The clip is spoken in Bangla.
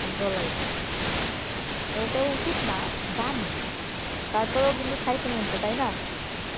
বলাই যাই না ওটাও উচিত না জানি, তারপরেও কিন্তু খাইতে মন চায় তাই না